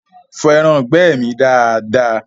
Fọ ẹraǹgbẹ́ mi dada!